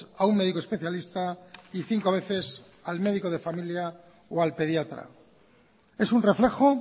a un médico especialista y cinco veces al médico de familia o al pediatra es un reflejo